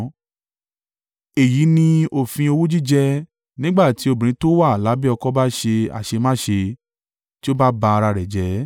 “ ‘Èyí ni òfin owú jíjẹ nígbà tí obìnrin tó wà lábẹ́ ọkọ bá ṣe a ṣe má ṣe, tí ó bá ba ara rẹ̀ jẹ́,